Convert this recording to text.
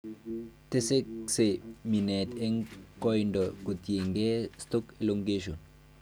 Tesakse mineet en koiindo kotienge stalk elongation